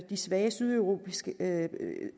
svage sydeuropæiske